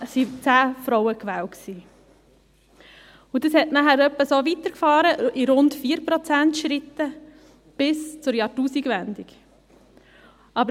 So ging es in etwa in 4-Prozent-Schritten bis zur Jahrtausendwende weiter.